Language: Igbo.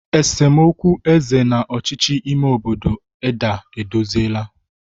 esemokwu eze na ọchịchị ime obodo Edda edozila.